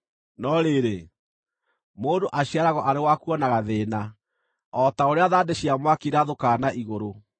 No rĩrĩ, mũndũ aciaragwo arĩ wa kuonaga thĩĩna, o ta ũrĩa na ma thandĩ cia mwaki irathũkaga na igũrũ.